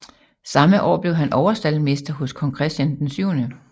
Samme år blev han overstaldmester hos kong Christian 7